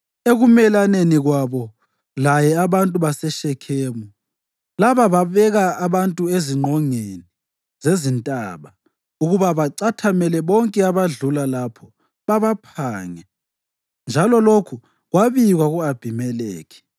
Ekumelaneni kwabo laye abantu baseShekhemu laba babeka abantu ezingqongeni zezintaba ukuba bacathamele bonke abadlula lapho babaphange, njalo lokhu kwabikwa ku-Abhimelekhi.